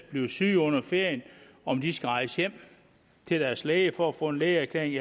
bliver syge under ferien om de skal rejse hjem til deres læge for at få en lægeerklæring